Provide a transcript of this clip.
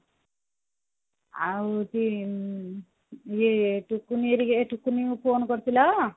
ଆଉ ହଉଛି ଇଏ ଟୁକୁନି ହେରିକା ଏ ଟୁକୁନି phone କରିଥିଲା